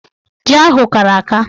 Ji ahụ kara aka.